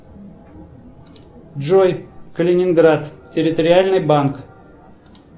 джой калининград территориальный банк